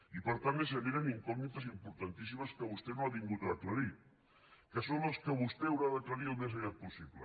i per tant es generen incògnites importantíssimes que vostè no ha vingut a aclarir que són les que vostè haurà d’aclarir al més aviat possible